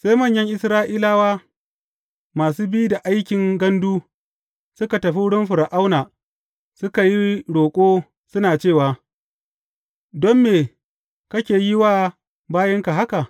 Sai manyan Isra’ila masu bi da aikin gandu suka tafi wurin Fir’auna suka yi roƙo suna cewa, Don me kake yi wa bayinka haka?